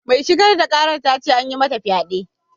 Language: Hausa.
Mai shigar da ƙarar ta ce an yi mata fyade.